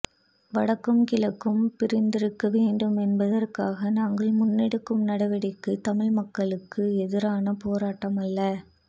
வடக்கும் கிழக்கும் பிரிந்திருக்க வேண்டும் என்பதற்காக நாங்கள் முன்னெடுக்கும் நடவடிக்கை தமிழ் மக்களுக்கு எதிரான போராட்டம் அல்ல